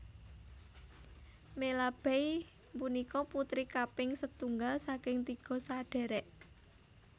Melabey punika putri kaping setunggal saking tiga sadhèrèk